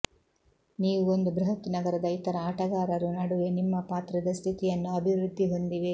ನೀವು ಒಂದು ಬೃಹತ್ ನಗರದ ಇತರ ಆಟಗಾರರು ನಡುವೆ ನಿಮ್ಮ ಪಾತ್ರದ ಸ್ಥಿತಿಯನ್ನು ಅಭಿವೃದ್ಧಿ ಹೊಂದಿವೆ